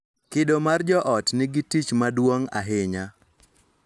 Kido mar joot nigi tich maduong' ahinya